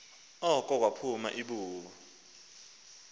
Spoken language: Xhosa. oko kwaphuma ibubu